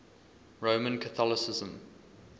roman catholicism